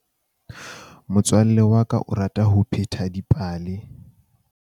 Motswalle wa ka o rata ho pheta dipale.